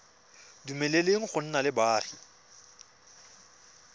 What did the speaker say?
dumeleleng go nna le boagi